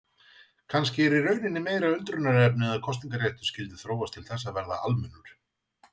Kannski er í rauninni meira undrunarefni að kosningaréttur skyldi þróast til þess að verða almennur.